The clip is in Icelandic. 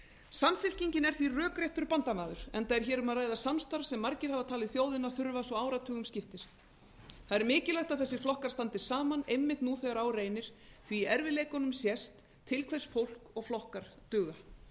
samfylkingin er því rökréttur bandamaður enda er hér um að ræða samstarf sem margir hafa talið þjóðina þurfa svo áratugum skiptir það er mikilvægt að þessir flokkar standi saman einmitt nú þegar á reynir því í erfiðleikunum sést til hvers fólk og flokkar duga